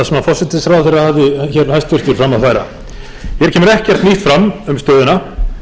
forsætisráðherra hæstvirtur hafði hér fram að færa hér kemur ekkert nýtt fram um stöðuna